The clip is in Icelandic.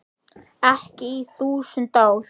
Ekki í þúsund ár.